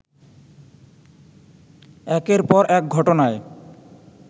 একের পর এক ঘটনায়